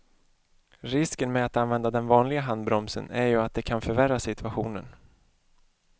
Risken med att använda den vanliga handbromsen är ju att det kan förvärra situationen.